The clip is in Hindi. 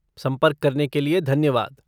संपर्क करने के लिए धन्यवाद।